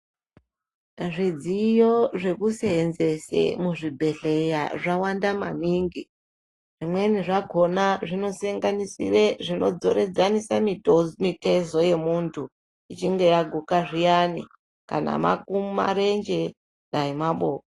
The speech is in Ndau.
Zvidziyo zvekuseenzese muzvibhedhleya zvawanda maningi. Zvimweni zvakhona zvinosenganisire zvinodzoredzanise muto mitezo yemuntu, ichinge yaguma zviyani, kana maku marenje, dai maboko.